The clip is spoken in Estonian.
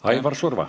Aivar Surva.